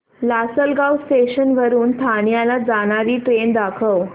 Lasalgaon station वरून ठाण्याला जाणारी ट्रेन दाखव